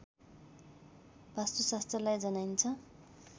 वास्तुशास्त्रलाई जनाइन्छ